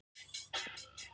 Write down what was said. hver er skilgreining á kviku